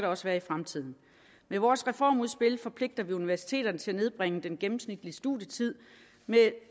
også i fremtiden med vores reformudspil forpligter vi universiteterne til at nedbringe den gennemsnitlige studietid med